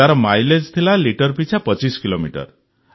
ତାର ମାଇଲେଜ୍ ଥିଲା ଲିଟର ପିଛା ୨୫ କିଲୋମିଟର